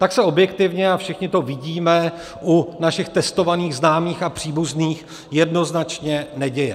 Tak se objektivně, a všichni to vidíme u našich testovaných známých a příbuzných, jednoznačně neděje.